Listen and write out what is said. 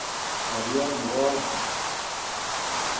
Ngolyot nebo aeng